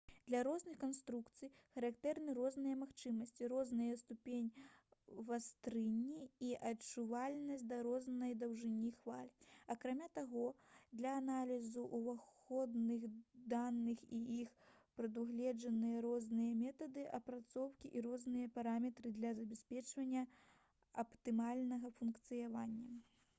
для розных канструкцый характэрны розныя магчымасці розная ступень вастрыні і адчувальнасць да рознай даўжыні хваль акрамя таго для аналізу ўваходных даных у іх прадугледжаны розныя метады апрацоўкі і розныя параметры для забеспячэння аптымальнага функцыянавання